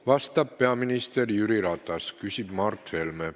Vastab peaminister Jüri Ratas, küsib Mart Helme.